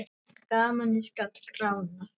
Gamanið gat gránað.